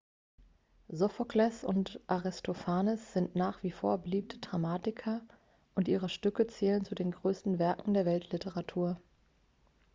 sophokles und aristophanes sind nach wie vor beliebte dramatiker und ihre stücke zählen zu den größten werken der weltliteratur